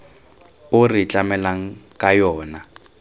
o re tlamelang ka yona